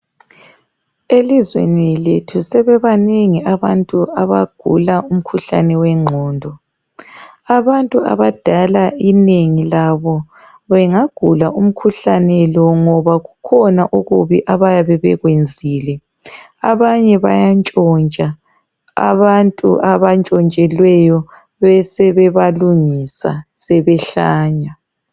Elizweni lethu sebebanengi abantu abagula umkhuhlane wenqgondo, abantu abadala inengi labo bengagula umkhuhlane lo ngoba kukhona okubi abayabe bekwenzile, abanye bayantshontsha, abantu abatshontshelweyo besebebalungisa sebehlanya.